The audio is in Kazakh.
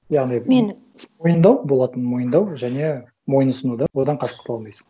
яғни мен мойындау болатынын мойындау және мойынұсыну да одан қашып құтыла алмайсың